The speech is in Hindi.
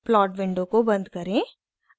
plot विंडो को बंद करें